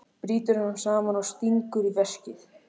Brýtur hann saman og stingur í veskið.